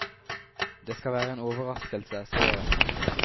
Det skal være en overraskelse, sier hun.